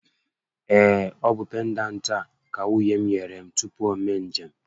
Ee, ọ bụ pendantị a ka nwunye m nyere m tupu o mee njem